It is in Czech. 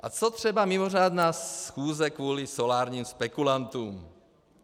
A co třeba mimořádná schůze kvůli solárním spekulantům?